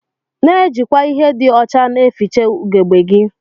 Na ejikwa ihe di ọcha na eficha ugegbe gi.